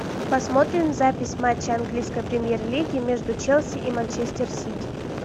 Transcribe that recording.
посмотрим запись матча английской премьер лиги между челси и манчестер сити